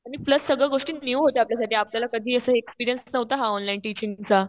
आणि प्लस सगळ्या गोष्टी न्यू होत्या आपल्या साठी. आपल्याला कधी असा एक्सपीरियन्स नव्हता हा ऑनलाईन टिचिंगचा.